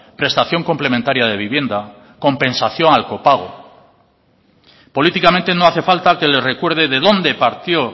prestación complementaria de vivienda compensación al copago políticamente no hace falta que le recuerde de donde partió